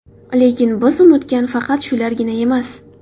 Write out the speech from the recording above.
Lekin biz unutgan faqat shulargina emas.